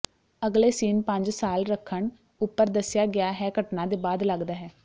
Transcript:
ਅਗਲੇ ਸੀਨ ਪੰਜ ਸਾਲ ਰੱਖਣ ਉਪਰ ਦੱਸਿਆ ਗਿਆ ਹੈ ਘਟਨਾ ਦੇ ਬਾਅਦ ਲੱਗਦਾ ਹੈ